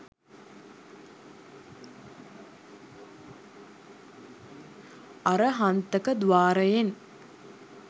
අරහන්තක ද්වාරයෙන්